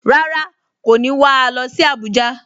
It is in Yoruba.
Rárá, kò ní wà á lọ sí Abuja